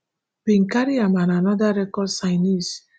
bin carry am and oda record signees